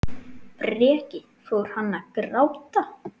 Breki: Fór hann að gráta?